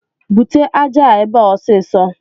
Bute aja a ebe a ọsịsọ